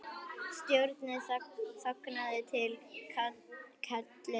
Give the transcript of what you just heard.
Stjórna þangað til kallið kemur.